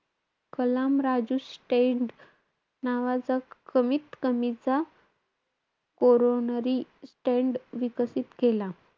कलाम-राजू stand नावाचा कमीत-कमीचा coronary stent विकसित केला.